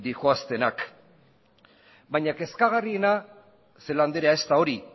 doazenak baina kezkagarriena celaá andrea ez da hori